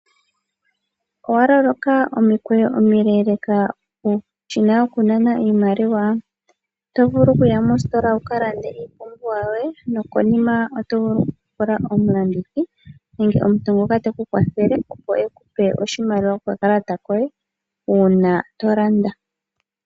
Owa loloka omikweyo omileeleka peshina lyokunana iimaliwa, oto vulu oku ya mositola wuka lande iipumbiwa yoye nokonima oto vulu oku pula omulandithi nenge omuntu ngoka teku kwathele opo eku pe oshimaliwa kokakalata koye uuna to landa.